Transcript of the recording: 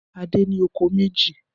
Adé ní oko méjì.